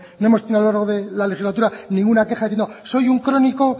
no hemos tenido a lo largo de la legislatura ninguna queja diciendo soy un crónico